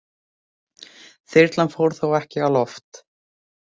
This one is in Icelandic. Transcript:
Þyrlan fór þó ekki á loft